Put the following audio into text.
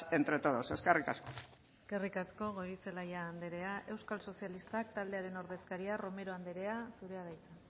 entre todos eskerrik asko eskerrik asko goirizelaia andrea euskal sozialistak taldearen ordezkaria romero andrea zurea da hitza